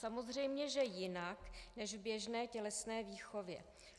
Samozřejmě že jinak než v běžné tělesné výchově.